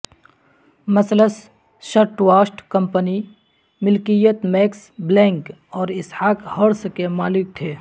مثلث shirtwaist company ملکیت Max Blanck اور اسحاق ہارس کے مالک تھے